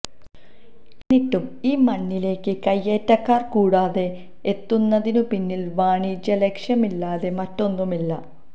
എന്നിട്ടും ഈ മണ്ണിലേക്ക് കൈയേറ്റക്കാർ കൂടോടെ എത്തുന്നതിനു പിന്നിൽ വാണിജ്യലക്ഷ്യമല്ലാതെ മറ്റൊന്നുമില്ല